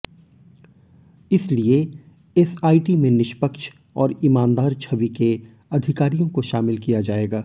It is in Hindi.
इसलिए एसआईटी में निष्पक्ष और ईमानदार छवि के अधिकारियों को शामिल किया जाएगा